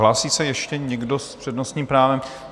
Hlásí se ještě někdo s přednostním právem?